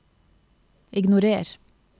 ignorer